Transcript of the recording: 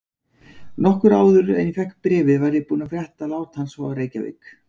Nokkru áður en ég fékk bréfið var ég búinn að frétta lát hans frá Reykjavík.